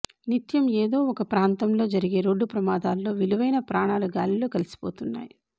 నిత్యం ఏదో ఒక ప్రాంతంలో జరిగే రోడ్డు ప్రమాదాల్లో విలువైన ప్రాణాలు గాలిలో కలసిపోతున్నాయి